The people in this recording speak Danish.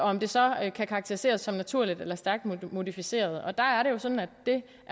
om det så kan karakteriseres som naturligt eller stærkt modificeret der er det sådan at det